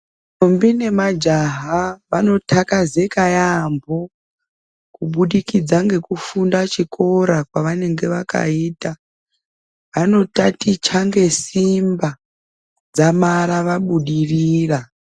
Ndombi nemajaha vanoxakazeka yaambo kubudikidza ngekufunda chikora kwavanenga vakaita. Vanotaticha ngesimba dzamara vabudirira.